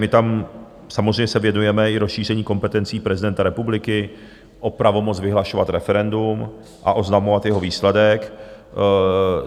My tam samozřejmě se věnujeme i rozšíření kompetencí prezidenta republiky o pravomoc vyhlašovat referendum a oznamovat jeho výsledek.